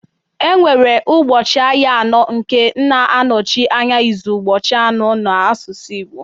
Enwere ụbọchị ahịa anọ nke na-anọchi anya izu ụbọchị anọ n'asụsụ Igbo